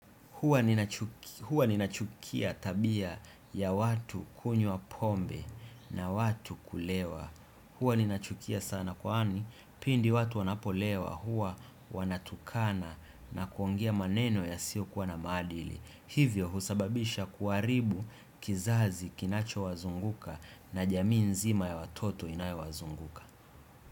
Hua ninachukia tabia ya watu kunywa pombe na watu kulewa. Hua ninachukia sana kwani pindi watu wanapolewa hua wanatukana na kuongea maneno ya sio kuwa na maadili. Hivyo husababisha kuharibu kizazi kinacho wazunguka na jamii nzima ya watoto inayo wazunguka.